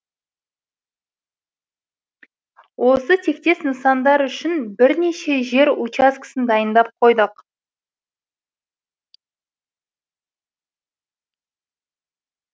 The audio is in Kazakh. осы тектес нысандар үшін бірнеше жер учаскесін дайындап қойдық